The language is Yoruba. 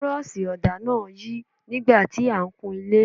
Bírọ́ọ̀ṣì ọ̀dà náà ń yí nígbà tí a ń kun ilé.